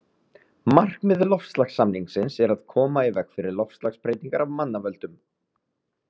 Markmið loftslagssamningsins er að koma í veg fyrir loftslagsbreytingar af mannavöldum.